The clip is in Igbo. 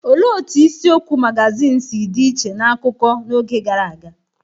Olee otú isiokwu magazin si dị iche n’akụkọ akụkọ n’oge gara aga?